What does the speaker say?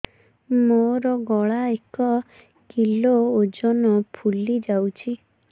ମୋ ଗଳା ଏକ କିଲୋ ଓଜନ ଫୁଲି ଯାଉଛି